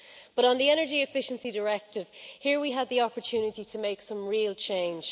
But on the energy efficiency directive, here we had the opportunity to make some real change.